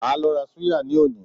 Màá lo ra súyà ní òní